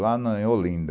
Lá na em Olinda,